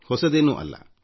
ಹೊಸದೇನೂ ಅಲ